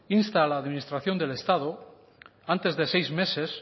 insta a la administración del estado a que antes de seis meses